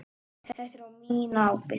Þetta er á mína ábyrgð.